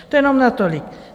To jenom natolik.